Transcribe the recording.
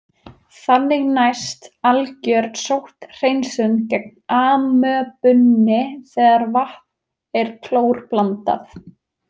Þannig næst algjör sótthreinsun gegn amöbunni þegar vatn er klórblandað.